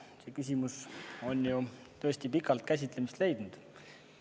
See küsimus on tõesti pikalt käsitlemist leidnud.